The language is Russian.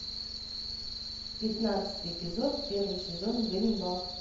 пятнадцатый эпизод первый сезон ганнибал